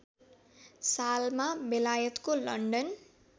सालमा बेलायतको लन्डन